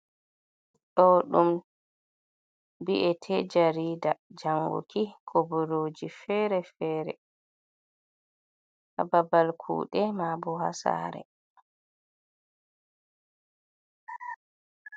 Ɗo ɗum bi’ete jarida janguki koboroji fere fere, ha ɓabal kuɗe ma bo ha sare.